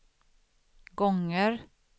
gånger